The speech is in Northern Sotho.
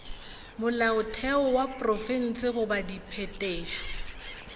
molaotheo wa profense goba diphetošo